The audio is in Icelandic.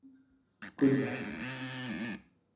Gunnar